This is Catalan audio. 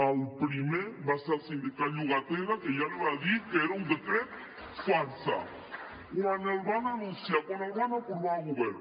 el primer va ser el sindicat de llogateres que ja li va dir que era un decret farsa quan el van anunciar quan el van aprovar a govern